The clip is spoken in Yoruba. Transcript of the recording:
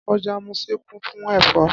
Ọjà Muṣin kún fún ẹ̀fọ́